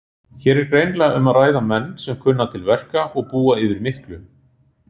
Hér er greinilega um að ræða menn sem kunna til verka og búa yfir miklu.